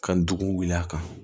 Ka ndugun wuli a kan